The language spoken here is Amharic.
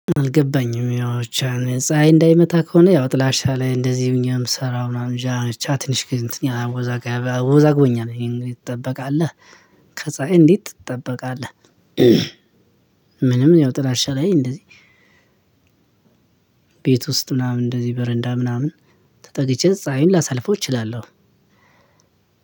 አልገባኝም ያው ብቻ ፀሀይ እንዳይመታ ከሆነ ያው ጥላሻ ላይ እንደዚህ ሆኜ እምሰራ ምናምን እንጃ ብቻ ትንሽ ግን አወዛጋ አወዛግቦኛል እንግዲህ ትጠበቃለህ ከፀሀይ እንዴት ትጠበቃለህ ምንም ያው ጥላሻ ላይ እንደዚህ ቤት ውስጥ ምናምን እንደዚህ በረንዳ ምናምን ተጠግቼ ፀሀይን ላሳልፈው እችላለሁ።